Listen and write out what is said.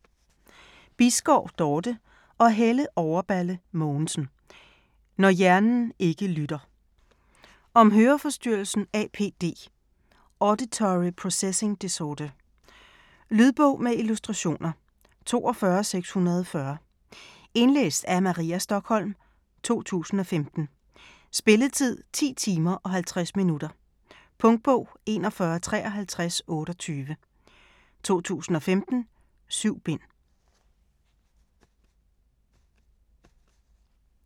Bisgaard, Dorte og Helle Overballe Mogensen: Når hjernen ikke lytter Om høreforstyrrelsen APD - auditory processing disorder. Lydbog med illustrationer 42640 Indlæst af Maria Stokholm, 2015. Spilletid: 10 timer, 50 minutter. Punktbog 415328 2015. 7 bind.